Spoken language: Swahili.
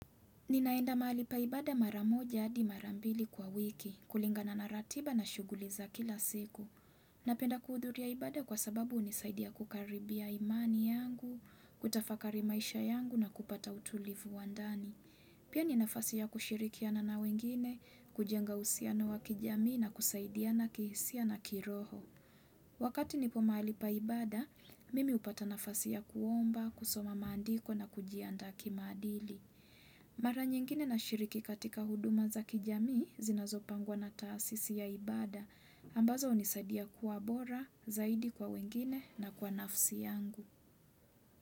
Ninaenda mahali pa ibada maramoja adi marambili kwa wiki, kulingana na ratiba na shuguli za kila siku. Napenda kuhudhuria ibada kwa sababu unisaidia kukaribia imani yangu, kutafakari maisha yangu na kupata utulivu wa ndani. Pia ni nafasi ya kushirikia na na wengine, kujenga usiano wa kijami na kusaidia na kihisia na kiroho. Wakati nipo mahali pa ibada, mimi upata nafasi ya kuomba, kusoma mandiko na kujianda kimadili. Mara nyingine nashiriki katika huduma za kijami zinazopangwa na taasisi ya ibada ambazo hunisadia kuwa bora, zaidi kwa wengine na kwa nafsi yangu.